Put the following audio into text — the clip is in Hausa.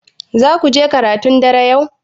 Zaku je karatun dare yau?